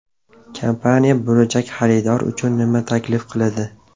Kompaniya bo‘lajak xaridor uchun nima taklif qiladi?